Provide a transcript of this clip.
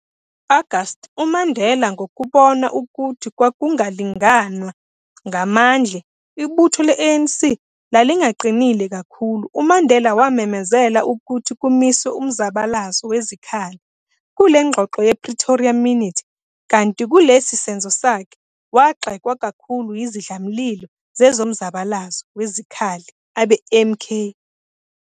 Ngo-Agasti, uMandela ngokubona ukuthi kwakungalinganwa ngamandle, ibutho le-ANC lalingaqinile kakhulu, uMandela wamemezela ukuthi kumiswe umzabalazo wezikhali, kule ngxoxo ye-Pretoria Minute, kanti kulesi senzo sakhe, wagxekwa kakhulu yizindlamlilo zezomzabalazo wezikhali, abe-MK.